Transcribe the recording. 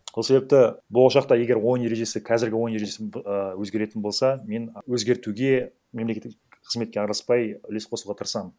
сол себепті болашақта егер ойын ережесі қазіргі ойын ережесі а өзгеретін болса мен өзгертуге мемлекеттік қызметке араласпай үлес қосуға тырысамын